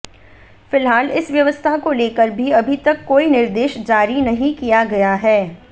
फिलहाल इस व्यवस्था को लेकर भी अभी तक कोई निर्देश जारी नहीं किया गया है